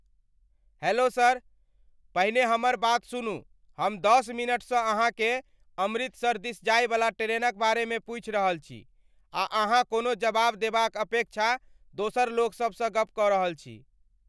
Hello sir! पहिने हमर बात सुनू हम दश मिनटसँ अहाँकेँ अमृतसर दिस जायवला ट्रेनक बारेमे पूछि रहल छी आ अहाँ कोनो जवाब देबाक अपेक्षा दोसर लोकसबसँ गप कऽ रहल छी।